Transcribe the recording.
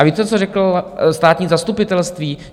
A víte, co řeklo státní zastupitelství?